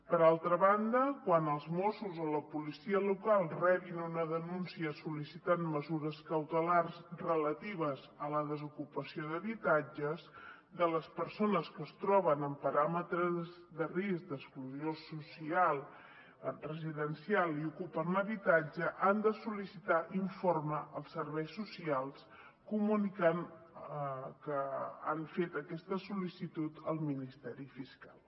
per altra banda quan els mossos o la policia local rebin una denúncia sol·licitant mesures cautelars relatives a la desocupació d’habitatges de les persones que es troben en paràmetres de risc d’exclusió social residencial i ocupen l’habitatge han de sol·licitar informe als serveis socials comunicant que han fet aquesta sol·licitud al ministeri fiscal